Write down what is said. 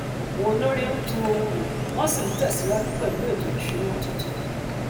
àwọn olórí ń tun ohun lò wọn sì ń tẹsíwájú pẹlú ètò ìṣúnná tuntun